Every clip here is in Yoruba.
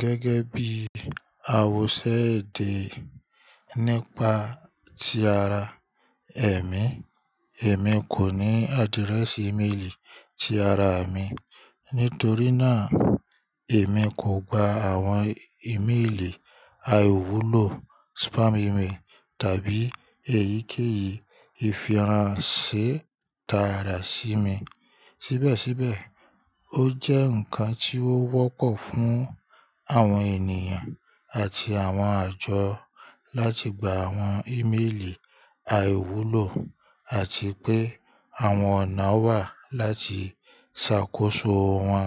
Gẹ́gẹ́ bí àwọ́sẹ́ èdè nípa ti ara ẹ̀mí, èmi kò ní adirẹ́ẹ̀sì ímeèlì ti ara mi. Nítorí náà, èmi kò gba àwọn ímeèlì àìwúlò, spam email, tàbí èyíkéyìí ìfihàn ṣé tààrà sí mi. Síbẹ̀síbẹ̀, ó jẹ́ ǹkan tí ó wọ́pọ̀ fún àwọn ènìyàn àti àwọn àjọ láti gba àwọn ímeèlì àìwúlò, àti pé àwọn ọ̀nà wà láti ṣàkóso wọn.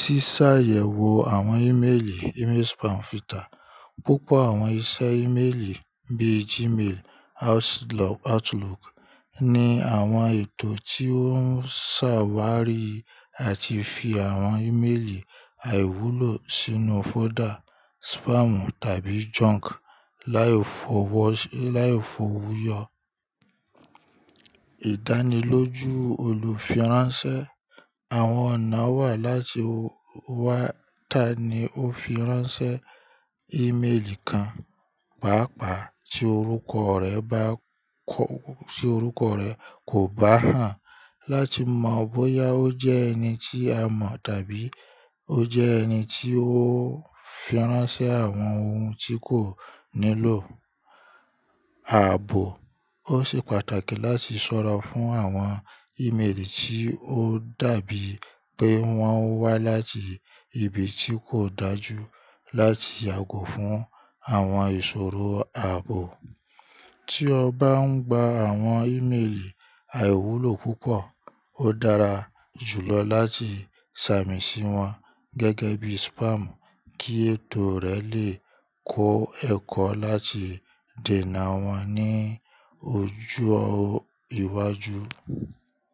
Sísàyẹ̀wò àwọn ímeèlì email spam filter. Púpọ̀ àwọn iṣẹ́ ímeèlì bíi Gmail, Outlook ní àwọn ètò tí ó ń ṣàwárí àti fi àwọn ímeèlì àìwúlò sínú fọ́dà spam tàbí junk láì f'ówúyọ. Ìdánilójú olùfiránsẹ́. Àwọn ọ̀nà wà láti wá ta ni ó firánsẹ́ ímeèlì kan, pàápàá ti oruko re ba tí orúkọ rẹ̀ kò bá hàn, láti mọ bóyá ó jẹ́ ẹni tí a mọ̀ tàbí ó jẹ́ ẹni tí ó firánsẹ́ àwọn ohun tí kò nílò. Ààbò. Ó ṣe pàtàkì láti ṣọ́ra fún àwọn ímeèlì tí ó dàbí pé wọ́n wá láti ibi tí kò dájú láti yàgò fún àwọn ìṣòro ààbò. Tí o bá ń gba àwọn ímeèlì àìwúlò púpọ̀, ó dára jùlọ láti sàmì sí wọn gẹ́gẹ́ bí spam kí ètò rẹ lè kó ẹ̀kọ́ láti dènà wọ́n ní ojo ìwájú.